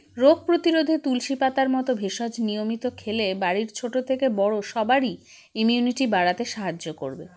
রোগপ্রতিরোধে তুলসী পাতার মতো ভেষজ নিয়মিত খেলে বাড়ির ছোটো থেকে বড়ো সবারই immunity বাড়াতে সাহায্য করবে